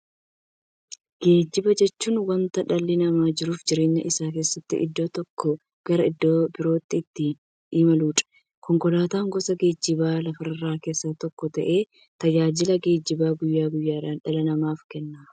Geejjiba jechuun wanta dhalli namaa jiruuf jireenya isaa keessatti iddoo tokkoo gara iddoo birootti ittiin imaluudha. Konkolaatan gosa geejjibaa lafarraa keessaa tokko ta'ee, tajaajila geejjibaa guyyaa guyyaan dhala namaaf kenna.